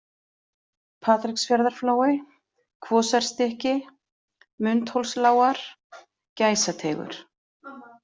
Patreksfjarðarflói, Kvosarstykki, Mundhólslágar, Gæsateigur